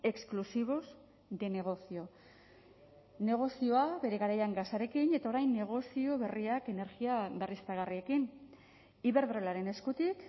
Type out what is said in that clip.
exclusivos de negocio negozioa bere garaian gasarekin eta orain negozio berriak energia berriztagarriekin iberdrolaren eskutik